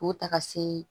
K'o ta ka se